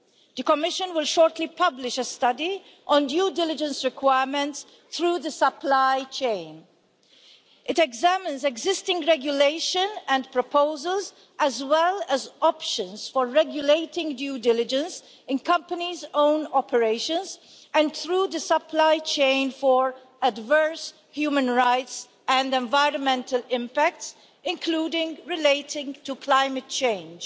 The Commission will shortly publish a study on due diligence requirements through the supply chain. It examines existing regulation and proposals, as well as options for regulating due diligence in companies own operations, and through the supply chain for adverse human rights and environmental impacts, including relating to climate change.